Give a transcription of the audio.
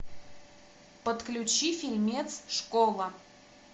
подключи фильмец школа